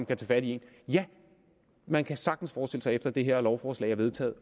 tage fat i ja man kan sagtens forestille sig efter det her lovforslag er vedtaget